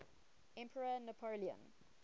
emperor napoleon